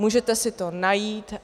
Můžete si to najít.